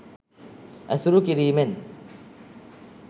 ඇසුරු කිරීමෙන්